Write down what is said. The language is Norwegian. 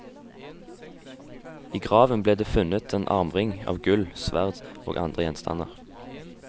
I graven ble det funnet en armring av gull, sverd og andre gjenstander.